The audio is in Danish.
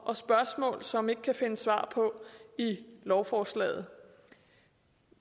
og spørgsmål som vi ikke kan finde svar på i lovforslaget